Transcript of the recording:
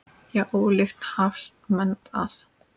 Já, ólíkt hafast menn að.